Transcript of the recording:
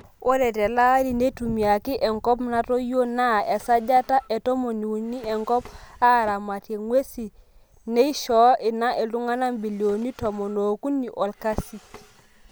Ore telaari neitumiaki enkop natoyionaa esajata e tomoniuini enkop aaramatie nguesi neishoo ina iltungana mbilioni tomon ookuni olkasi.